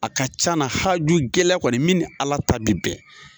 A ka ca na haju gɛlɛn kɔni min ni Ala ta bɛ bɛn